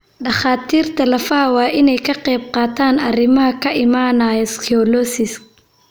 Dhakhaatiirta lafaha waa inay ka qaybqaataan arrimaha ka imanaya scoliosis.